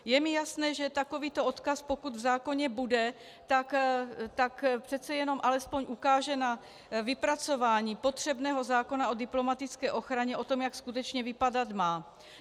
Je mi jasné, že takovýto odkaz, pokud v zákoně bude, tak přece jenom alespoň ukáže na vypracování potřebného zákona o diplomatické ochraně, o tom, jak skutečně vypadat má.